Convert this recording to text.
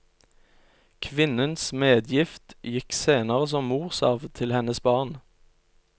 Kvinnens medgift gikk senere som morsarv til hennes barn.